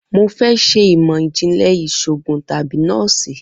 Mo fẹ ṣe imọ-jinlẹ iṣoogun tabi nọọsi